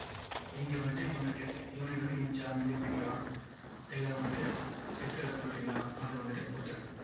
இங்க வந்துட்டு unit to unit வந்துட்டு inch சா millimeter ரா இல்ல வந்துட்டு pixel ல கொடுக்குறீங்களா அதை வந்துட்டு கொடுத்துருங்க.